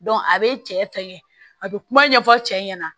a bɛ cɛ fɛngɛ a bɛ kuma ɲɛfɔ cɛ ɲɛna